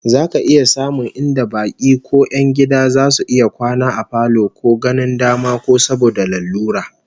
Za ka iya samun inda baki ko 'yan gida zasu iya kwana a falo ko ganin dama ko saboda lalura